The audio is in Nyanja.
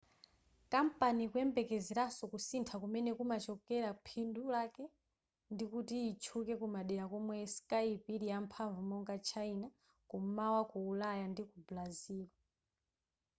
kampani ikuyembekezeranso kusintha kumene kumachokera phindu lake ndikuti itchuke kumadera komwe skype ili yamphamvu monga china kum'mawa ku ulaya ndi ku brazil